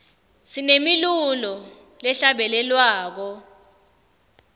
sinemilulo lehla bele lwako